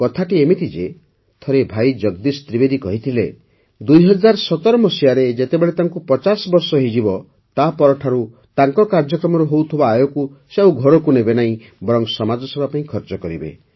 କଥାଟି ଏମିତି ଯେ ଥରେ ଭାଇ ଜଗଦୀଶ ତ୍ରିବେଦୀ କହିଥିଲେ ୨୦୧୭ ମସିହାରେ ଯେତେବେଳେ ତାଙ୍କୁ ପଚାଶ ବର୍ଷ ହୋଇଯିବ ତାପରଠାରୁ ତାଙ୍କ କାର୍ଯ୍ୟକ୍ରମରୁ ହେଉଥିବା ଆୟକୁ ସେ ଆଉ ଘରକୁ ନେବେନାହିଁ ବରଂ ସମାଜସେବା ପାଇଁ ଖର୍ଚ୍ଚ କରିବେ